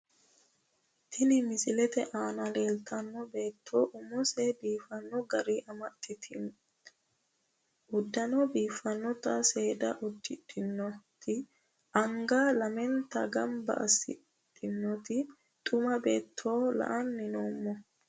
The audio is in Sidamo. Tini misilete aana leeltanno beetto umose biifanno garinni amaxxitinoti, uddanono biiffannota seeda uddidhinoti, angas lamenta gamba assidhinoti xuma beetto la'anni noommo.